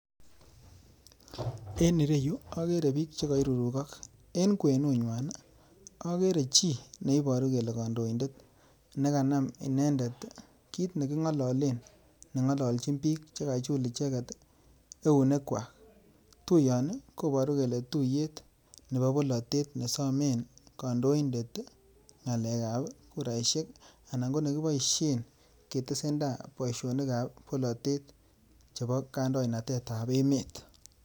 En ireyu, okere biik chekoirurukok. En kwenunywan, okere chii neiboru kele kandoindet nekanam inendet kit neking'ololen neng'ololjin biik chekachul icheket eunekwak. Tuiyoni koburu kele tuyet nebo bolatet nesomen kandoindet ng'alekab kuraishek anan konekiboishen ketesenda boishonikab bolatet chebo kandoinatetab emet.